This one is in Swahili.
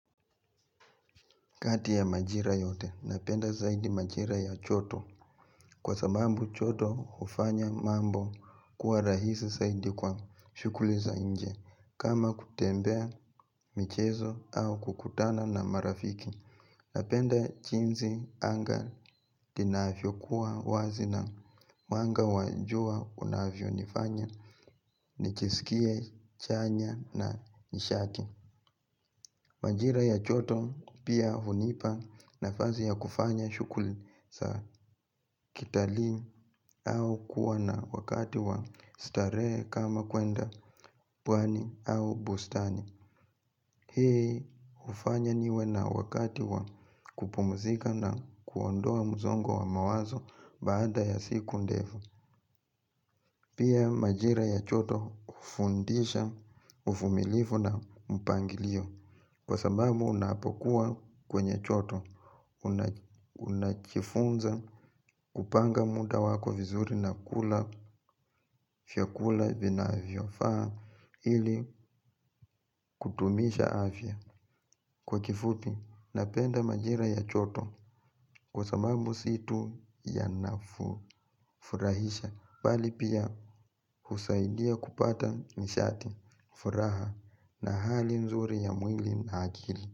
Kati ya majira yote, napenda zaidi majira ya choto. Kwa sabambu choto ufanya mambo kuwa rahisi zaidi kwa shukuli za nje. Kama kutembea, michezo au kukutana na marafiki. Napenda chinzi anga inafyo kuwa wazi na wanga wanjua unavyo nifanya ni chisikie chanya na nishaki. Wanjira ya choto pia hunipa nafazi ya kufanya shukuli za kitali au kuwa na wakati wa starehe kama kwenda pwani au bustani. Hii ufanya niwe na wakati wa kupumzika na kuondoa mzongo wa mawazo baada ya siku ndefu. Pia majira ya choto ufundisha ufumilifu na mpangilio. Kwa sababu unapokuwa kwenye choto una unachifunza kupanga muda wako vizuri na kula fyakula vinavyo. Faa ili kutumisha afya. Kwa kifupi, napenda majira ya choto kwa sabambu si tu yanafurahisha pali pia husaidia kupata nishati, furaha na hali nzuri ya mwili na akili.